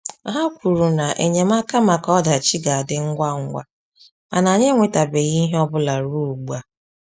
Ha kwuru na enyemaka maka ọdachi ga-adị ngwa ngwa, mana anyị enwetabeghị ihe ọ bụla ruo ugbu a.